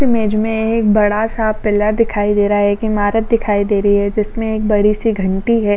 इस इमेज में एक बड़ा सा पिलर दिखाई दे रहा है। एक इमारत दिखाई दे रही है। जिसमे एक बडी सी घंटी है।